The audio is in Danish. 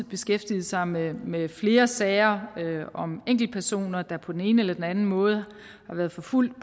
beskæftiget sig med med flere sager om enkeltpersoner der på den ene eller den anden måde har været forfulgt